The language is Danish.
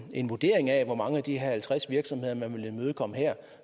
en vurdering af hvor mange af de halvtreds virksomheder man vil imødekomme her